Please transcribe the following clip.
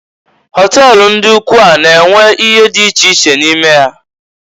Họtel ndị ụkwụ a na-enwe ihe dị iche iche n'ime ya.